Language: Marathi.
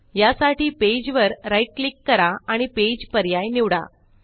या साठी पेज वर राईट क्लिक करा आणि पेज पर्याय निवडा